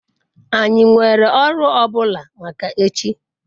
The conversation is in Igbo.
anyi nwere oru o bula maka echi? )